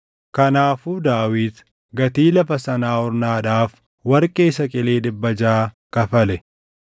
Kanaafuu Daawit gatii lafa sanaa Ornaadhaaf warqee saqilii dhibbaa jaʼa kafale.